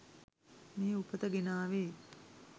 මේ උපත ගෙනාවේ.